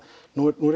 nú er